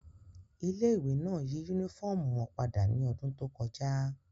Ile-iwe náa yi unifọmú wọn pada ni ọdun to kọja